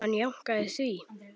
Hann jánkaði því.